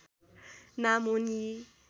नाम हुन् यी